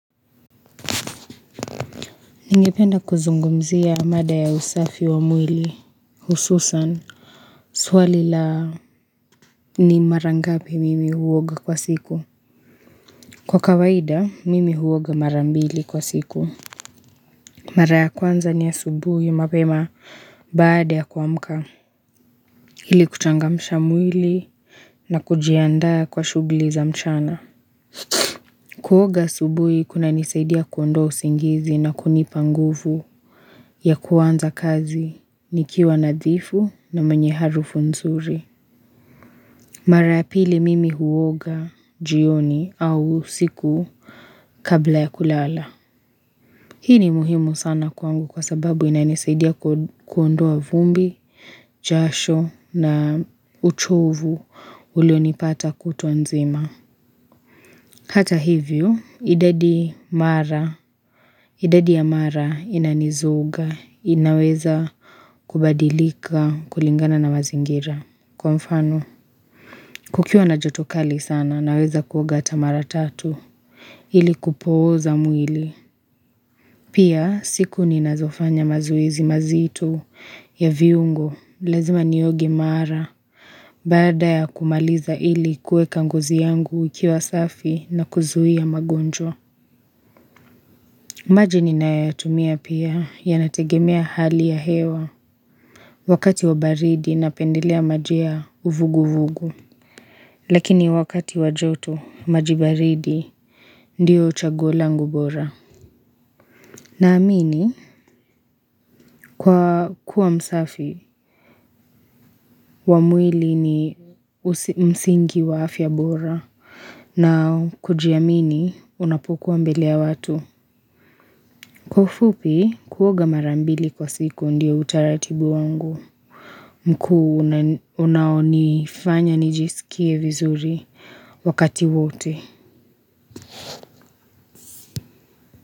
Ningependa kuzungumzia mada ya usafi wa mwili hususan Swali la ni mara ngapi mimi huoga kwa siku Kwa kawaida mimi huoga marambili kwa siku Maraya kwanza ni ya subuhi mapema baada ya kwa mka Hili kuchangamisha mwili na kujiandaa kwa shugli za mchana Kuoga subui kuna nisaidia kuondoa usingizi na kunipa nguvu ya kuanza kazi nikiwa nadhifu na mwenye harufu nzuri Mara ya pili mimi huoga jioni au siku kabla ya kulala Hii ni muhimu sana kuangu kwa sababu ina nisaidia kuondoa vumbi, jasho na uchovu ulo nipata kutwa nzima Hata hivyo, idadi mara, idadi ya mara inanizuga, inaweza kubadilika, kulingana na mazingira. Kwa mfano, kukiwa na joto kali sana, naweza kuoga ata mara tatu, ili kupoza mwili. Pia, siku ni nazofanya mazuizi mazitu ya viungo, lazima nioge mara. Bada ya kumaliza ili kue kanguzi yangu ikiwa safi na kuzuhia magonjo. Maji ninayatumia pia ya nategemea hali ya hewa wakati wa baridi napendelea majia uvugu vugu. Lakini wakati wa joto maji baridi ndio chaguo langu bora. Na amini kwa kuwa msafi, wamwili ni msingi wa afya bora na kuji amini unapokuwa mbele ya watu. Kufupi kuoga mara mbili kwa siku ndio utaratibu wangu. Mkuu unaonifanya nijisikie vizuri wakati wote.